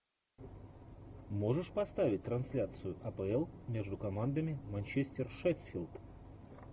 можешь поставить трансляцию апл между командами манчестер шеффилд